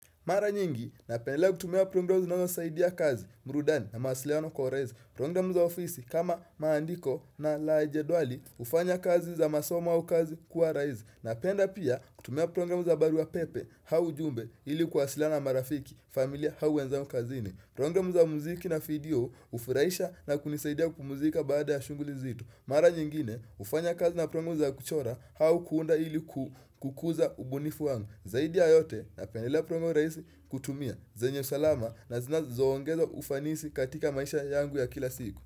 Mara nyingi, napenda kutumia program za barua pepe, au ujumbe ili kwasilana marafiki, familia hau wenzangu kazini. Prongramu za muziki na video ufuraisha na kunisaidia kupumuzika baada ya shuguli zito. Mara nyingine, ufanya kazi na programu za kuchora au kuunda ili kukuza ubunifu wangu. Zaidi ya yote na pendelea program raisi kutumia zenye usalama na zinazoongezo ufanisi katika maisha yangu ya kila siku.